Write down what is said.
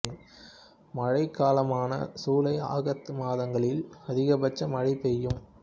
மழைக் காலமான சூலை ஆகத்து மாதங்களில் அதிகபட்ச மழை பெய்யும்